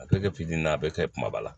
A bɛ kɛ pikiri in ye a bɛ kɛ kumaba la